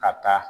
Ka taa